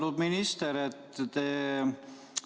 Austatud minister!